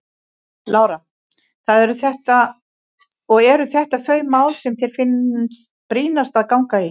Lára: Og eru þetta þau mál sem þér finnst brýnast að ganga í?